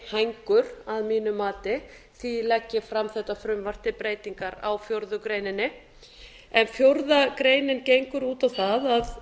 hængur að mínu mati því legg ég fram þetta frumvarp til breytingar á fjórðu grein en fjórða grein gengur út á það að